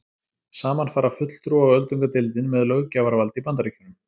Saman fara fulltrúa- og öldungadeildin með löggjafarvald í Bandaríkjunum.